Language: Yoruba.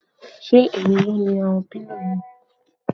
Ṣé èmi ni mo ni àwọn pílò yìí?